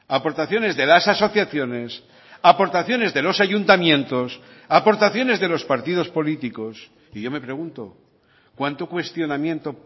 aportaciones de las asociaciones aportaciones de los ayuntamientos aportaciones de los partidos políticos y yo me pregunto cuánto cuestionamiento